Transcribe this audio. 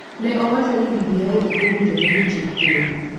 ne owacho ni BBI ok owinjore gi chik piny,